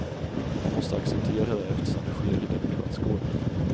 Man måste acceptera det, eftersom det sker i demokratisk ordning.